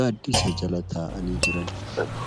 gaaddisa jala taa'anii jiran.